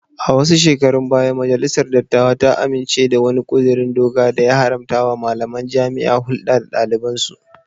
A wasu shekarun baya majalisar dattawa ta amince da wani kudirin doka da ya haramtawa malamain jaami'a hulda da dalibansu